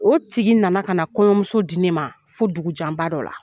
O tigi nana ka na kɔɲɔmuso di ne ma fo dugu janba dɔ la.